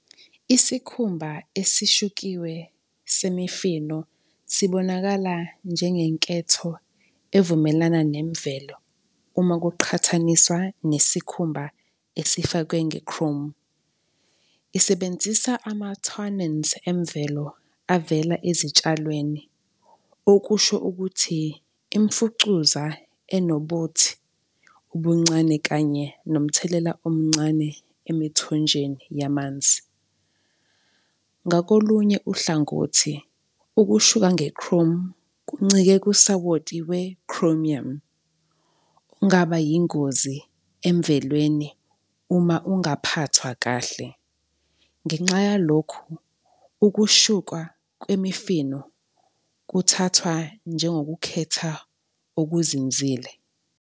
Isikhumba esishukiwe semifino sibonakala njengenketho evumelana nemvelo uma kuqhathaniswa nesikhumba esifakwe nge-chrome. Isebenzisa ema-tannins emvelo avela ezitshalweni. Okusho ukuthi imfucuza enobothi, ubuncane kanye nomthelela omncane emithonjeni yamanzi. Ngakolunye uhlangothi, ukushuka nge-chrome kuncike kusawoti we-chromium, ongaba yingozi emvelweni uma ungaphathwa kahle. Ngenxa yalokhu, ukhushukwa kwemifino kuthathwa njengokukhetha okuzinzile.